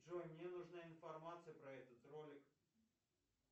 джой мне нужна информация про этот ролик